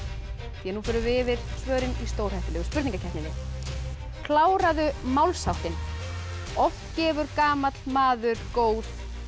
því nú förum við yfir svörin í stórhættulegu spurningakeppninni kláraðu málsháttinn oft gefur gamall maður góð